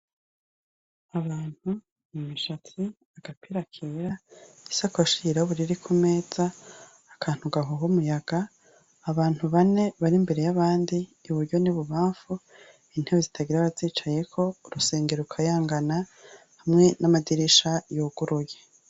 Umuntu imishatsi agapira kera isakoshi yirabura iri ku meza akantu hahaha umuyaga abantu bane bari imbere y' abandi iburyo n' ibubamfu intebe zitagira abazicayeko urusenge rukayangana hamwe n' amadirisha yuguruye.